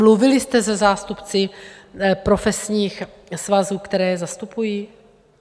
Mluvili jste se zástupci profesních svazů, které je zastupují?